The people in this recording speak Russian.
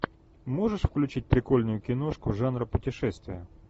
можешь включить прикольную киношку жанр путешествия